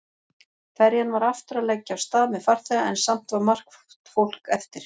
Ferjan var aftur að leggja af stað með farþega en samt var margt fólk eftir.